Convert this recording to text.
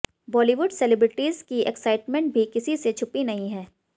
Bollywood celebrities की excitement भी किसी से छुपी नहीं है